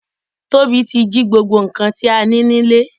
Tobi ti jí gbogbo nkan ti a ni nile.